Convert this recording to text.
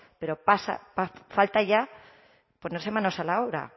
pero falta ya ponerse manos a la hora